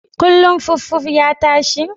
Kullun fuffuf ya tashi?